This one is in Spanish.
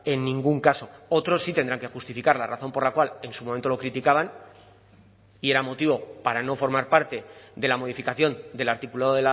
en ningún caso otros sí tendrán que justificar la razón por la cual en su momento lo criticaban y era motivo para no formar parte de la modificación del articulado